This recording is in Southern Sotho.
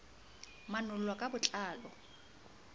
manol lwa ka bo tlalo